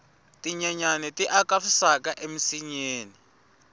tinyenyani ti aka swisaka eminsinyeni